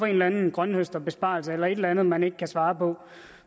en eller anden grønthøsterbesparelse eller et eller andet man ikke kan svare på